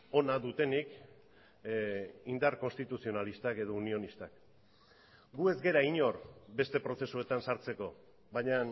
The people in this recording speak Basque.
ona dutenik indar konstituzionalistak edo unionistak gu ez gara inor beste prozesuetan sartzeko baina